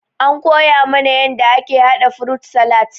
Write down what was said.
An koya mana yanda ake haɗa frut salat.